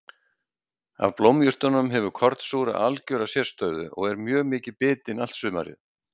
Af blómjurtunum hefur kornsúra algjöra sérstöðu og er mjög mikið bitin allt sumarið.